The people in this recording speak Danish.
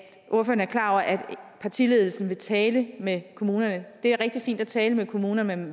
partiledelsen vil tale med kommunerne og det er rigtig fint at tale med kommunerne